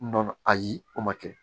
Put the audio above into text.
Nɔnɔ ayi o ma kɛ